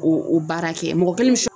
O o baara kɛ, mɔgɔ kelen bɛ s